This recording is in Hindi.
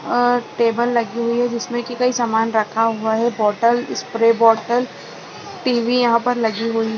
और टेबल लगी हुई है जिसमे की कोई सामान रखा हुई है बॉटल स्प्रे बॉटल टी_वी यहाँ पर लगी हुई हैं।